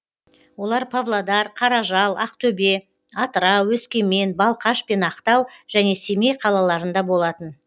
олар павлодар қаражал ақтөбе атырау өскемен балқаш пен ақтау және семей қалаларында болатын